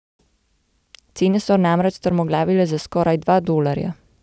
Cene so namreč strmoglavile za skoraj dva dolarja.